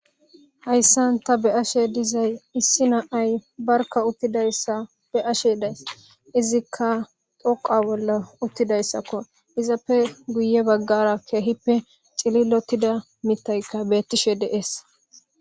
hayssan ta be ashe dizay issi na ay barka uttidayssa be ashe days izikka doqa bolla uttidayssakko izappe guye baggara keehippe cililotida mitayka beettishe dees